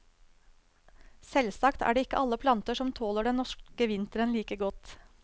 Selvsagt er det ikke alle planter som tåler den norske vinteren like godt.